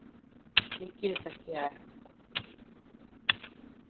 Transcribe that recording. Ég get ekki æft.